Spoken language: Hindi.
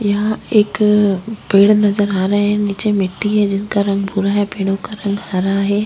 यहाँ एक पेड़ नजर आ रहे है नीचे मिट्टी है जिसका रंग भूरा है पेड़ो का रंग हरा है।